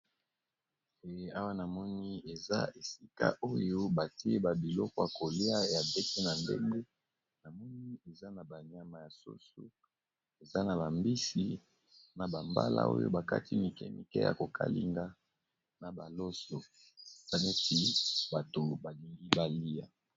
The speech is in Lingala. e awa namoni eza esika oyo batieba bilokoya kolia ya bete na ndenge namoni eza na banyama ya soso eza na bambisi na bambala oyo bakati mike mike ya kokalinga na baloso salesi bato balingi balia